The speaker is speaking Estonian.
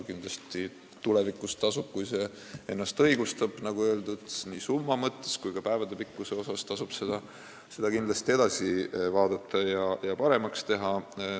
Kindlasti tasub tulevikus, kui see samm on ennast õigustanud, nagu öeldud, nii summa kui ka päevade arvu mõttes seda asja edasi vaadata ja paremaks teha.